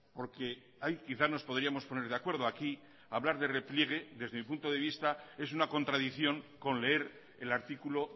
porque ahí quizás nos podríamos poner de acuerdo aquí hablar de repliegue desde mi punto de vista es una contradicción con leer el artículo